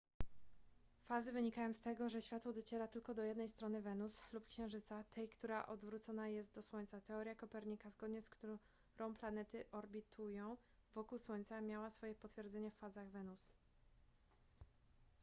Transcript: fazy wynikają z tego że światło dociera tylko do jednej strony wenus lub księżyca tej która odwrócona jest do słońca. teoria kopernika zgodnie z którą planety orbitują wokół słońca miała swoje potwierdzenie w fazach wenus